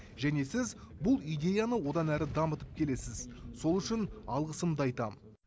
және сіз бұл идеяны одан әрі дамытып келесіз сол үшін алғысымды айтам